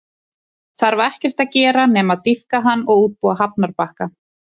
Þarf ekkert að gera nema að dýpka hann og útbúa hafnarbakka.